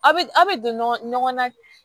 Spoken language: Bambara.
A bɛ a' bɛ don ɲɔgɔn na